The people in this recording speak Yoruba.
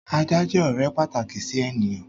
Ajá jẹ́ ọ̀rẹ́ pàtàkì sí ènìyàn.